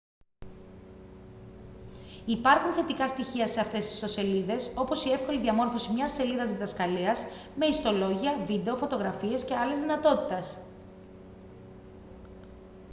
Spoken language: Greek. υπάρχουν θετικά στοιχεία σε αυτές τις ιστοσελίδες όπως η εύκολη διαμόρφωσης μιας σελίδας διδασκαλίας με ιστολόγια βίντεο φωτογραφίες και άλλες δυνατότητες